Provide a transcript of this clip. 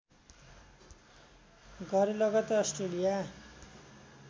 गरे लगतै अस्ट्रेलिया